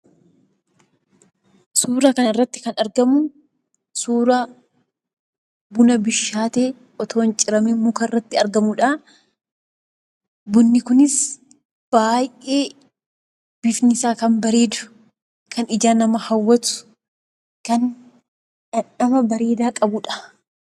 Suuraa kana irratti kan argamu suuraa Bunaa bishaatee, utuu hin ciramiin mukaa irratti argamudha. Bunni kunis baay'ee bifni isaa kan bareedu, kan ijaa nama hawwatu, kan dhamdhama bareedaa qabudha.